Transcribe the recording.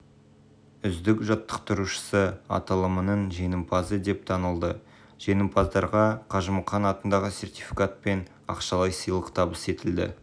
үздік жаттықтырушысы аталымының жеңімпазы деп танылды жеңімпаздарға қажымұқан атындағы сертификат пен ақшалай сыйлық табыс етілді